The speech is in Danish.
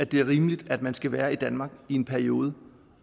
det er rimeligt at man skal være i danmark i en periode